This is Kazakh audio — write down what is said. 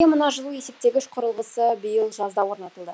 мына жылу есептегіш құрылғысы биыл жазда орнатылды